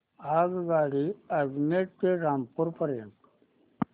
आगगाडी अजमेर ते रामपूर पर्यंत